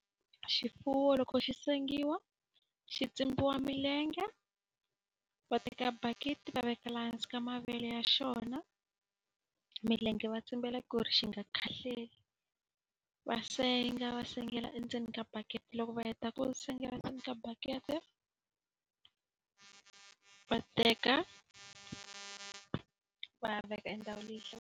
Xifuwo loko xi sengiwa xi tsimbiwa milenge, va teka bakiti va veka laha hansi ka mavele ya xona. Milenge va tsimbela ku ri xi nga khahlele. Va senga va sengela endzeni ka bakiti. Loko va heta ku sengela ndzeni ka baketi va teka va ya veka endhawini leyi hlayisekeke.